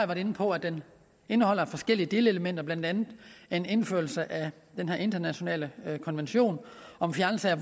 været inde på at det indeholder forskellige delelementer blandt andet en indførelse af den her internationale konvention om fjernelse af